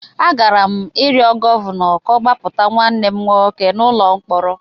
Agara m ịrịọ Gọvanọ ka ọ gbapụta nwanne m nwoke n’ụlọ mkpọrọ.